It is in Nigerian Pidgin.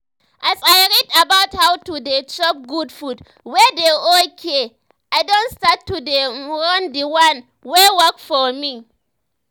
as i read about how to dey chop good food wey dey oaky i don start to dey um run d one wey work for me